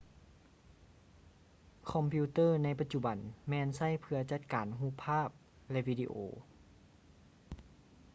ຄອມພິວເຕີໃນປະຈຸບັນແມ່ນໃຊ້ເພຶ່ອຈັດການຮູບພາບ ແລະ ວີດີໂອ